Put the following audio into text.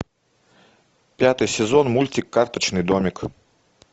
пятый сезон мультик карточный домик